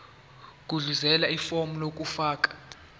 gudluzela ifomu lokufaka